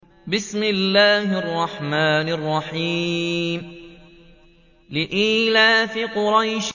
لِإِيلَافِ قُرَيْشٍ